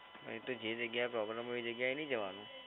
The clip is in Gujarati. હા એ તો જે જગ્યા problem હોય એ જગ્યાએ નહીં જવાનું.